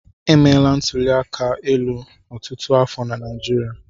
Emeela ntụli aka elu ọtụtụ afọ na Naịjirịa.